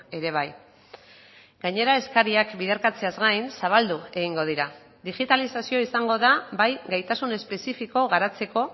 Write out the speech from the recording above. ere bai gainera eskariak biderkatzeaz gain zabaldu egingo dira digitalizazioa izango da bai gaitasun espezifiko garatzeko